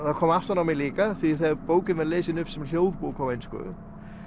það kom aftan á mig líka því þegar bókin var lesin upp sem hljóðbók á ensku